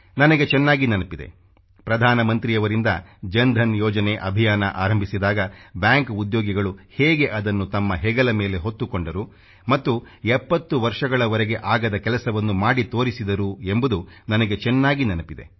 ನನಗೆ ಚೆನ್ನಾಗಿ ನೆನಪಿದೆ ಪ್ರಧಾನ ಮಂತ್ರಿಯವರಿಂದ ಜನ್ಧನ್ ಯೋಜನೆ ಅಭಿಯಾನ ಆರಂಭಿಸಿದಾಗ ಬ್ಯಾಂಕ್ ಉದ್ಯೋಗಿಗಳು ಹೇಗೆ ಅದನ್ನು ತಮ್ಮ ಹೆಗಲ ಮೇಲೆ ಹೊತ್ತುಕೊಂಡರು ಮತ್ತು 70 ವರ್ಷಗಳವರೆಗೆ ಆಗದ ಕೆಲಸವನ್ನು ಮಾಡಿ ತೋರಿಸಿದರು ಎಂಬುದು ನನಗೆ ಚೆನ್ನಾಗಿ ನೆನಪಿದೆ